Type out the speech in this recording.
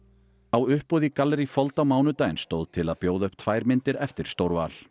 á uppboði í gallerí fold á mánudaginn stóð til að bjóða upp tvær myndir eftir